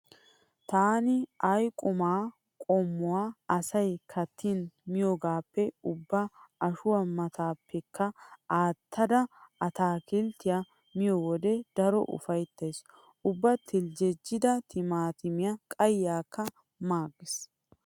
Taani ay qumaa qommuwa asay kattin miyoogaappe ubba ashuwa maattaappekka aattada ataakilttiya miyo wode daro ufayttays. Ubba teljjejjidaa timaatimiya qayyiyakka maaggays.